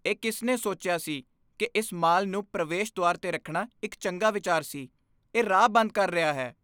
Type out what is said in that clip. ਇਹ ਕਿਸ ਨੇ ਸੋਚਿਆ ਸੀ ਕਿ ਇਸ ਮਾਲ ਨੂੰ ਪ੍ਰਵੇਸ਼ ਦੁਆਰ 'ਤੇ ਰੱਖਣਾ ਇੱਕ ਚੰਗਾ ਵਿਚਾਰ ਸੀ? ਇਹ ਰਾਹ ਬੰਦ ਕਰ ਰਿਹਾ ਹੈ।